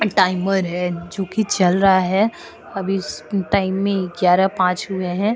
Timer हैं जो कि चल रहा है अभी टाइम में ग्यारा पांच हुए हैं।